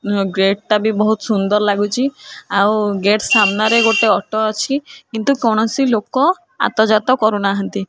Gate ଟା ବି ବହୁତ ସୁନ୍ଦର ଲାଗୁଛି ଆଉ ଗେଟ୍ ସାମ୍ନାରେ ଗୋଟେ ଅଟୋ ଅଛି କିନ୍ତୁ କୌଣସି ଲୋକ ଆତ ଯାତ କରୁନାହାନ୍ତି।